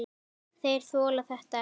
Þeir þola þetta ekki.